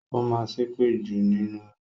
Ó máa ń ṣépè jù nínú oyún